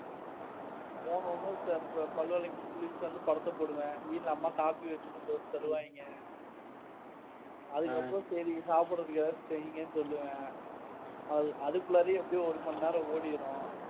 போன உடனே பல்லு விலக்கி, குளிச்சுட்டு வந்து படத்தை போடுவேன். வீட்டுல அம்மா காப்பி வெச்சு கொண்டு வந்து தருவாங்க அதுக்கப்புறம் சரி சாப்பிடறதுக்கு ஏதாவது செய்யுங்கன்னு சொல்லுவேன் அதுக்குள்ளாரயே எப்படியோ ஒரு மணி நேரம் ஓடிடும்.